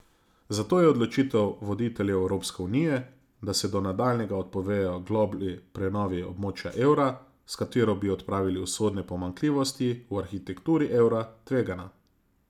Zato je odločitev voditeljev Evropske unije, da se do nadaljnjega odpovejo globlji prenovi območja evra, s katero bi odpravili usodne pomanjkljivosti v arhitekturi evra, tvegana.